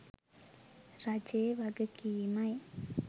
රජයේ වගකීමයි.